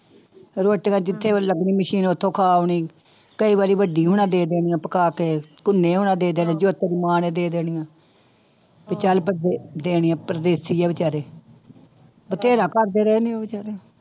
ਰੋਟੀਆਂ ਜਿੱਥੇ ਲੱਗਣੀ ਮਸ਼ੀਨ ਉੱਥੋਂ ਖਾ ਆਉਣੀ, ਕਈ ਵਾਰੀ ਵੱਡੀ ਹੋਣਾਂ ਦੇ ਦੇਣੀਆਂ ਪਕਾ ਕੇ ਹੋਣਾਂ ਦੇ ਦੇਣੇ ਜੋਤੇ ਦੀ ਮਾਂ ਨੇ ਦੇ ਦੇਣੀਆਂ ਤੇ ਚੱਲ ਬੰਦੇ ਦੇਣੇ ਪ੍ਰਦੇਸ਼ੀ ਆ ਬੇਚਾਰੇ ਬਥੇਰਾ ਕਰਦੇ ਰਹੇ ਨੇ ਬੇਚਾਰੇ।